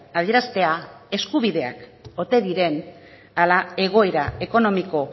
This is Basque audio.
adieraztea eskubideak ote diren ala egoera ekonomiko